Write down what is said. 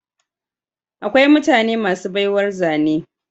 Akwai mutane masu baiwar zane